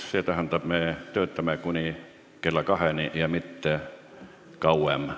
See tähendab, et me töötame kuni kella kaheni ja mitte kauem.